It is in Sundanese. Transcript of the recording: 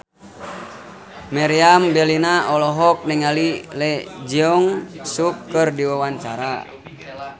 Meriam Bellina olohok ningali Lee Jeong Suk keur diwawancara